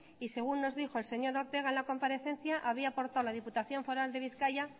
y según nos dijo el señor ortega en la comparecencia había aportado a la diputación foral de bizkaia